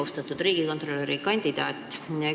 Austatud riigikontrolöri kandidaat!